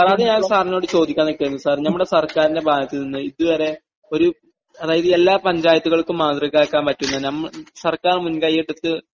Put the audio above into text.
sir, അത് ഞാൻ സാറിനോട് ചോദിയ്ക്കാൻ നിൽക്കുവായിരുന്നു സാർ..നമ്മുടെ സർക്കാരിന്റെ ഭാഗത്തുനിന്ന് ഇതുവരെ ഒരു...അതായത് എല്ലാ പഞ്ചായത്തുകൾക്കും മാതൃകയാക്കാൻ പറ്റുന്ന സർക്കാർ എടുത്ത്...